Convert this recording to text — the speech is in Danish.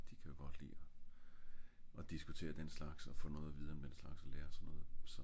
de ka godt lide og og diskutere den slags og få noget at vide om den slags og lære sådan noget så